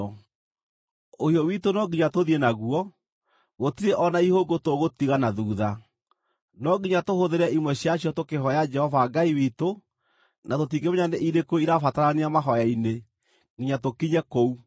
Ũhiũ witũ no nginya tũthiĩ naguo; gũtirĩ o na ihũngũ tũgũtiga na thuutha. No nginya tũhũthĩre imwe ciacio tũkĩhooya Jehova Ngai witũ, na tũtingĩmenya nĩ irĩkũ irĩbatarania mahooya-inĩ nginya tũkinye kũu.”